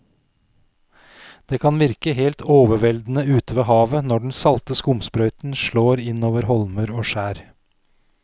Det kan virke helt overveldende ute ved havet når den salte skumsprøyten slår innover holmer og skjær.